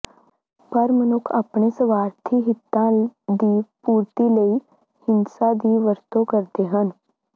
ਪਰ ਮਨੁੱਖ ਆਪਣੇ ਸਵਾਰਥੀ ਹਿਤਾਂ ਦੀ ਪੂਰਤੀ ਲਈ ਹਿੰਸਾ ਦੀ ਵਰਤੋਂ ਕਰਦੇ ਹਨ